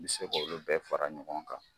N bɛ se k'olu bɛɛ fara ɲɔgɔn kan.